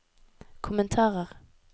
kommentarer